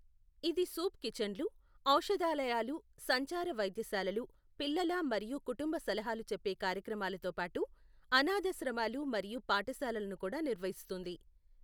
ఇది సూప్ కిచన్లు, ఔషధాలయాలు, సంచార వైద్యశాలలు, పిల్లల మరియు కుటుంబ సలహాలు చెప్పే కార్యక్రమాలతో పాటు అనాథాశ్రమాలు మరియు పాఠశాలలను కూడా నిర్వహిస్తుంది.